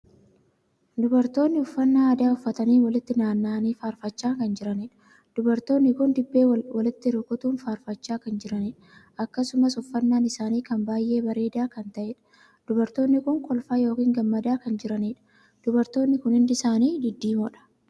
Dubartoonni uffannaa aadaa uffatanii walitti naanna'anii faarfachaa kan jiraniidha. dubartoonni kun dibbee walitti rukutuun faarfachaa kan jiraniidha. akkasumas uffannaan isaanii kan baay'een bareedaa kan taheedha. dubartoonni kun kolfaa ykn gammadaa kan jiraniidha. dubartoonni kun hundi isaanii diddiimoodha.